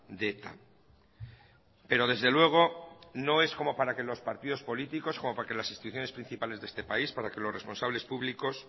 de eta pero desde luego no es como para que los partidos políticos como para que las instituciones principales de este país para que los responsables públicos